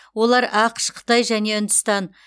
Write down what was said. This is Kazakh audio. олар ақш қытай және үндістан